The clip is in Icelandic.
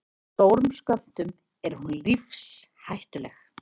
Í stórum skömmtum er hún lífshættuleg.